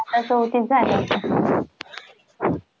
चौतीस झाल्या असतील.